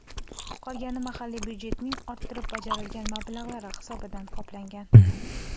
Qolgani mahalliy budjetning orttirib bajarilgan mablag‘lari hisobidan qoplangan.